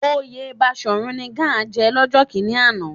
Oyè Baṣòrun ni Gáà jẹ lọ́jọ́ kíní àná